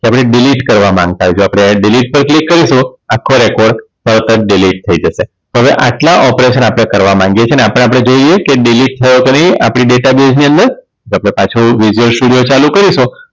કે આપણે Delete કરવા માંગતા હોય જો આપણે Delete પર Click કરીએ તો આખો Record તરત જ Delete થઈ જશે તો હવે આટલા operation આપણે કરવા માંગીએ છીએ ને આપણે આપણે જોઈએ કે Delete થયો કે નઈ આપણી Data Base ની અંદર તો આપણે પાછું સ્ટુડિયો ચાલુ કરીશું